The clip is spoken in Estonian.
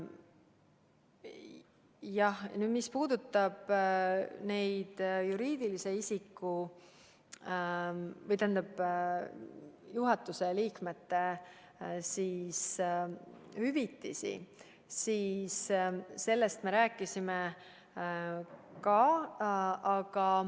Jah, mis puudutab juriidiliste isikute ja osaühingute juhatuse liikmete hüvitisi, siis sellest me rääkisime.